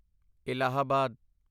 Allahabad